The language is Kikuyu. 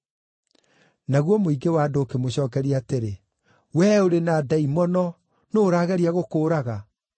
Naguo mũingĩ wa andũ ũkĩmũcookeria atĩrĩ, “Wee ũrĩ na ndaimono. Nũũ ũrageria gũkũũraga?”